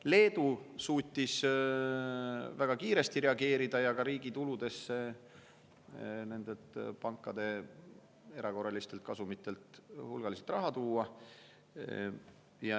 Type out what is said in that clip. Leedu suutis väga kiiresti reageerida ja sai ka riigi tuludesse pankade erakorraliste kasumite pealt hulgaliselt raha.